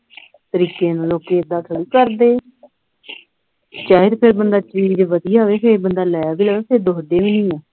ਤਰੀਕੇ ਨਾਲ ਲੋਕੀ ਏਦਾਂ ਥੋੜ੍ਹੀਕਰਦੇ ਆ ਚਾਹੇ ਤੇ ਫਿਰ ਬੰਦਾ ਚੀਜ਼ ਵਧੀਆ ਹੋਵੇ ਫਿਰ ਬੰਦਾ ਲੈ ਵੀ ਲਵੋ ਫੇਰ ਦੁੱਖਦੀ ਨਹੀਂ ਆ